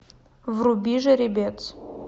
вруби жеребец